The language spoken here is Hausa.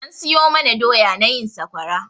An siyo mana doya na yin sakwara.